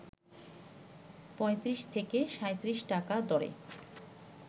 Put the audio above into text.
৩৫ থেকে ৩৭ টাকা দরে